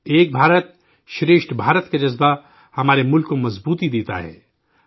'ایک بھارت، شریشٹھ بھارت' کا جذبہ ہمارے ملک کو مضبوط دیتا ہے